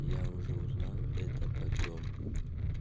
я уже узнал это потом